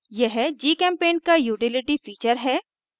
यह gchempaint का utility feature है